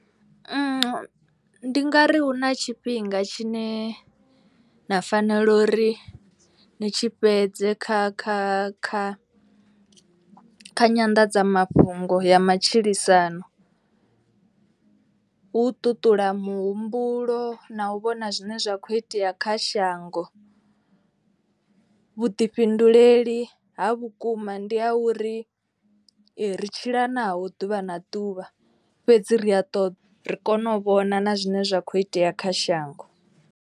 Ndi nga ri hu na tshifhinga tshine na fanela uri ni tshi fhedze kha kha kha kha nyanḓadzamafhungo ya matshilisano. Huu ṱuṱula muhumbulo na u vhona zwine zwa kho itea kha shango. Vhuḓifhinduleli ha vhukuma ndi ha uri ri tshila naho ḓuvha na ḓuvha fhedzi ri a ṱo ri kone u vhona na zwine zwa kho itea kha shango.